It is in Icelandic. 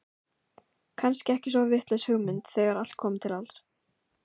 Kannski ekki svo vitlaus hugmynd þegar allt kom til alls.